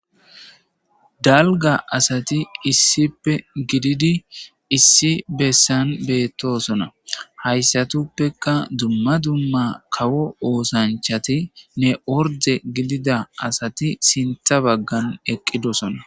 Daliga asati issipe gididi issi besan betosona hayisatupeka dumma dumma kawo osanchatine oride gidida asati sinta bagan eqidosona.